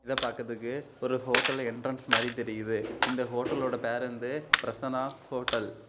இதை பாக்கறதுக்கு ஒரு ஹோட்டல் என்ட்ரன்ஸ் மாறி தெரியுது இந்த ஹோட்டலோட பேர் வந்து பிரசன்னா ஹோட்டல் .